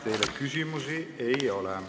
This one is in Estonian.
Teile küsimusi ei ole.